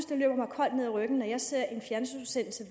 det løber mig koldt ned ad ryggen når jeg ser en fjernsynsudsendelse